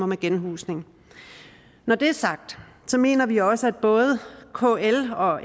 med genhusning når det er sagt mener vi også at både kl og